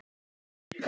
Anna Hulda.